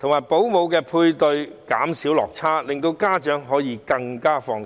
及保姆的配對減少落差，令家長更放心。